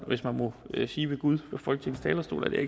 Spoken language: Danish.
hvis man må sige ved gud fra folketings talerstol det er